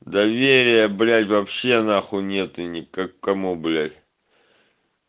доверия блять вообще на хуйне ты не к кому блять